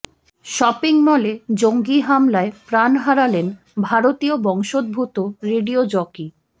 shopping মলে জঙ্গি হামলায় প্রাণ হারালেন ভারতীয় বংশোদ্ভূত রেডিও জকি